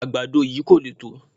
Àgbàdo yìí kò le tó